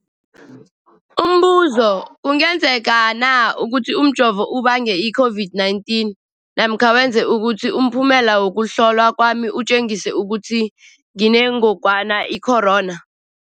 Umbuzo, kungenzekana ukuthi umjovo ubange i-COVID-19 namkha wenze ukuthi umphumela wokuhlolwa kwami utjengise ukuthi nginengogwana i-corona?